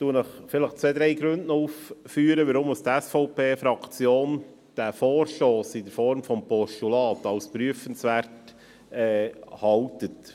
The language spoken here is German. Ich führe zwei, drei Gründe auf, warum die SVP-Fraktion diesen Vorstoss in Form eines Postulats als prüfenswert erachtet.